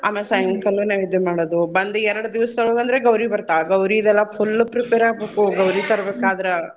ಅಮೇಲ್ ಸಾಯಂಕಾಲ ನೈವೇದ್ಯ ಮಾಡೋದು ಬಂದ್ ಎರ್ಡ್ ದೀವ್ಸ್ದಾಗ್ ಅಂದ್ರೆ ಗೌರೀ ಬರ್ತ್ತಾಳ್ ಗೌರೀದೆಲ್ಲ full prepare ಆಗ್ ಬೇಕು ಗೌರೀ ತರ್ಬೇಕಾದ್ರ.